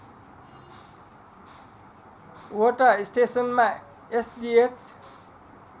वटा स्टेसनमा एसडिएच